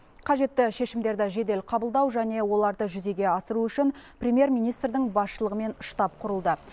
қажетті шешімдерді жедел қабылдау және оларды жүзеге асыру үшін премьер министрдің басшылығымен штаб құрылды